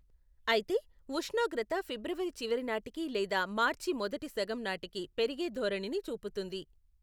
అయితే ఉష్ణోగ్రత ఫిబ్రవరి చివరి నాటికి లేదా మార్చి మొదటి సగం నాటికి పెరిగే ధోరణిని చూపుతుంది.